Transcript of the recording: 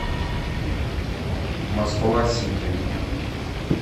москва сити